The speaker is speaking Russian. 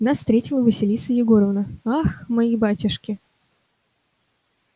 нас встретила василиса егоровна ах мои батюшки